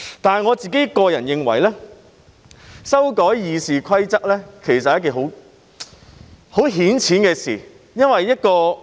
但是，我認為修改《議事規則》是很顯淺的事。